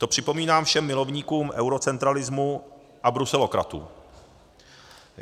To připomínám všem milovníkům eurocentralismu a bruselokratům.